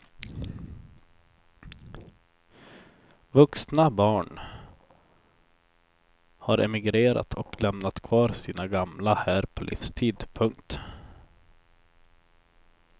Vuxna barn har emigrerat och lämnat kvar sina gamla här på livstid. punkt